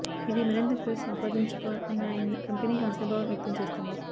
ఇవి మరింత క్రేజ్ సంపాదించుకోనున్నాయని కంపెనీ ఆశాభావం వ్యక్తం చేస్తుంది